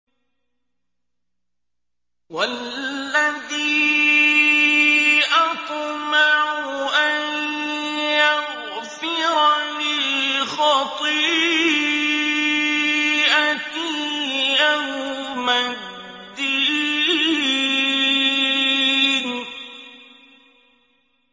وَالَّذِي أَطْمَعُ أَن يَغْفِرَ لِي خَطِيئَتِي يَوْمَ الدِّينِ